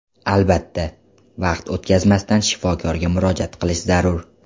Albatta, vaqt o‘tkazmasdan shifokorga murojaat qilish zarur.